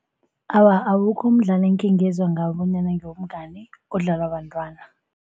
Awa, awukho umdlalo ekhengezwa ngawo bona ngewobungani odlalwa bentwana.